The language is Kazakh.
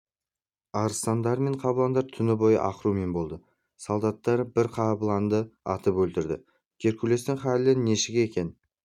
арыстандар мен қабыландар түні бойы ақырумен болды солдаттар бір қабыланды атып өлтірді геркулестің халі нешік екен